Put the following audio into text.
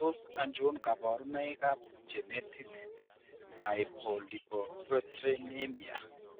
Tos achon kabarunaik ab genetic hypolipoproteinemia ?